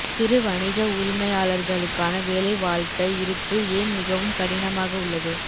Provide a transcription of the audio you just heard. சிறு வணிக உரிமையாளர்களுக்கான வேலை வாழ்க்கை இருப்பு ஏன் மிகவும் கடினமாக உள்ளது